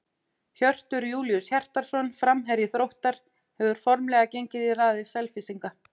Hjörtur Júlíus Hjartarson, framherji Þróttar, hefur formlega gengið í raðir Selfyssinga.